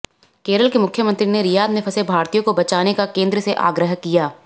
केरल के मुख्यमंत्री ने रियाद में फंसे भारतीयों को बचाने का केंद्र से आग्रह किया